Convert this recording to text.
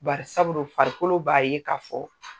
Barisaburu farikolo b'a ye k'a fɔ.